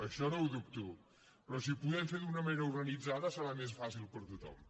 això no ho dubto però si ho podem fer d’una manera organitzada serà més fàcil per a tothom